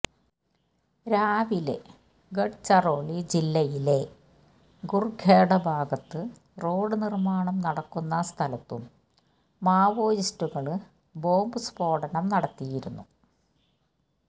രാവിലെ ഗഡ്ചറോളി ജില്ലയിലെ കുര്ഖേഡ ഭാഗത്ത് റോഡ് നിര്മ്മാണം നടക്കുന്ന സ്ഥലത്തും മാവോയിസ്റ്റുകള് ബോംബ് സ്ഫോടനം നടത്തിയിരുന്നു